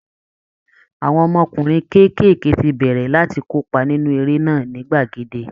Àwọn ọmọkùnrin kéékèèké ti bẹ̀rẹ̀ láti kópa nínú eré náà ní gbàgede